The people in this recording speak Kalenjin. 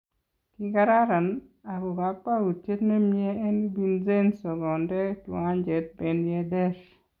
Kii kararan , ako kakwautyet nemie en Vincenzo kondee kiwancheet Ben Yedder